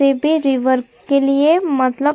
फिर भी रिवर के लिए मतलब--